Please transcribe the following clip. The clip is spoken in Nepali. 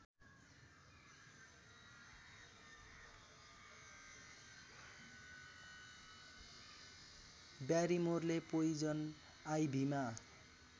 ब्यारिमोरले पोइजन आइभीमा